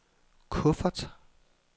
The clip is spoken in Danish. kuffert